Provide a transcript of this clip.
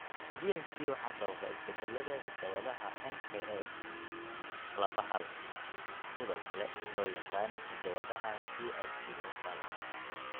BHC waxaa sababa isbeddellada hidda-wadaha NKX laba hal (sidoo kale loo yaqaan hidda-wadaha TITF hal).